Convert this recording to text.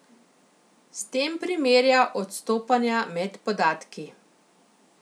S tem primerja odstopanja med podatki.